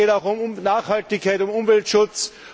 Es geht auch um Nachhaltigkeit, um Umweltschutz.